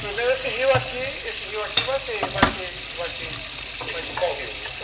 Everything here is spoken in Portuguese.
Primeiro esse rio aqui, esse rio aqui vai ser... Vai ser... Vai ser...Qual rio?